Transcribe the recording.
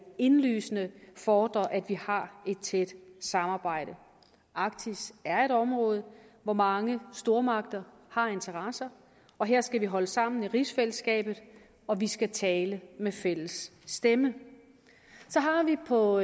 indlysende fordrer at vi har et tæt samarbejde arktis er et område hvor mange stormagter har interesser og her skal vi holde sammen i rigsfællesskabet og vi skal tale med fælles stemme så har vi på